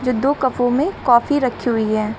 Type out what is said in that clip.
दो कपो में कॉफी रखी हुई है।